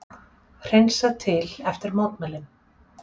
Hreinsað til eftir mótmælin